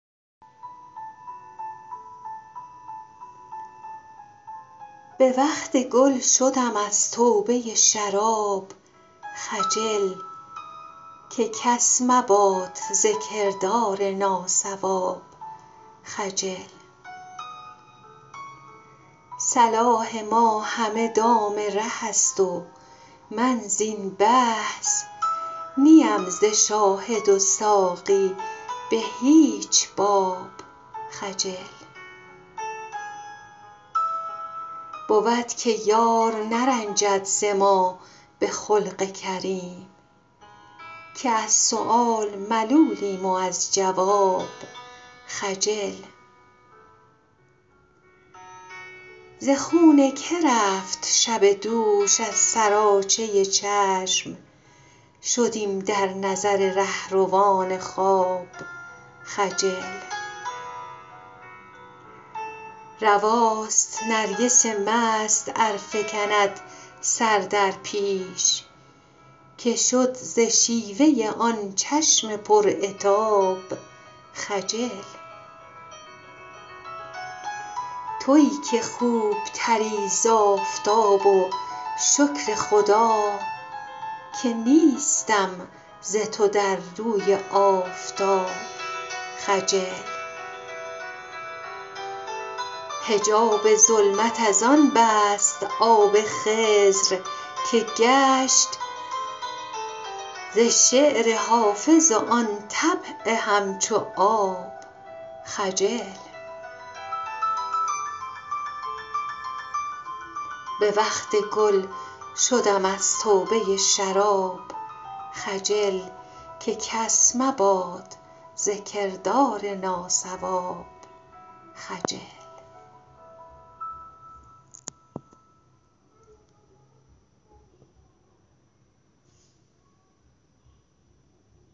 به وقت گل شدم از توبه شراب خجل که کس مباد ز کردار ناصواب خجل صلاح ما همه دام ره است و من زین بحث نی ام ز شاهد و ساقی به هیچ باب خجل بود که یار نرنجد ز ما به خلق کریم که از سؤال ملولیم و از جواب خجل ز خون که رفت شب دوش از سراچه چشم شدیم در نظر رهروان خواب خجل رواست نرگس مست ار فکند سر در پیش که شد ز شیوه آن چشم پر عتاب خجل تویی که خوب تری ز آفتاب و شکر خدا که نیستم ز تو در روی آفتاب خجل حجاب ظلمت از آن بست آب خضر که گشت ز شعر حافظ و آن طبع همچو آب خجل